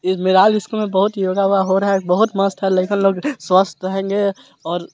ये एक मैदान जिसके मे बोहोत योगा हो रहा हे बोहोत मस्त हे लेकिन लोग स्वस्थ रहेंगे और --